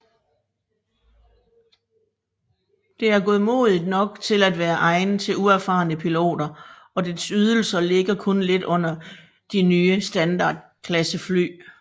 Det er godmodigt nok til at være egnet til uerfarne piloter og dets ydelser ligger kun lidt under nye standardklassefly